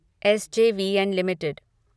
S J V N limited